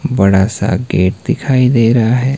बड़ा सा गेट दिखाई दे रहा है।